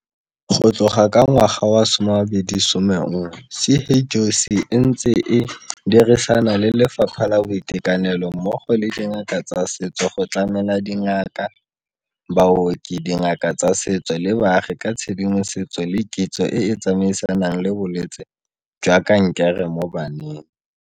Go tloga ka ngwaga wa 2011, CHOC e ntse e dirisana le Lefapha la Boitekanelo mmogo le dingaka tsa setso go tlamela dingaka, baoki, dingaka tsa setso le baagi ka tshedimosetso le kitso e e tsamaisanang le bolwetse jwa kankere mo baneng.